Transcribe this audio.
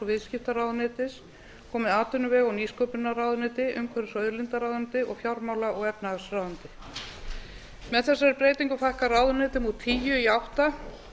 viðskiptaráðuneytis komi atvinnuvega og nýsköpunarráðuneyti umhverfis og auðlindaráðuneyti og fjármála og efnahagsráðuneyti með þessari breytingu fækkar ráðuneytum úr tíu í átta